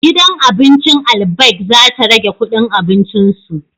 Gidan abincin Albaik za ta rage kudin abincin su